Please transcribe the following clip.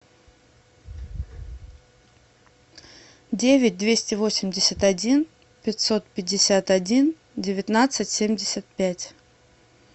девять двести восемьдесят один пятьсот пятьдесят один девятнадцать семьдесят пять